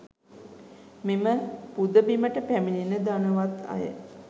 මෙම පුදබිමට පැමිණෙන ධනවත් අය